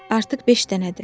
Artıq beş dənədir.